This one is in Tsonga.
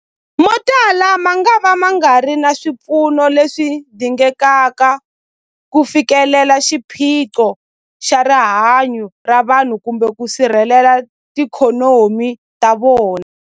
Motala mangava ma nga ri na swipfuno leswi dingekaka ku fikelela xiphiqo xa rihanyu ra vanhu kumbe ku sirhelela tiikhonomi ta vona.